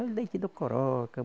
Olha o leite do Coroca.